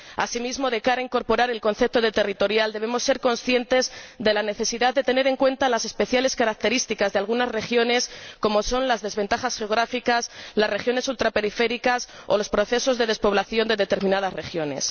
Asimismo, de cara a incorporar el concepto de territorial, debemos ser conscientes de la necesidad de tener en cuenta las especiales características de algunas regiones, como son las desventajas geográficas, el carácter ultraperiférico o los procesos de despoblación de determinadas regiones.